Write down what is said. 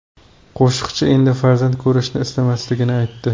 Qo‘shiqchi endi farzand ko‘rishni istamasligini aytdi.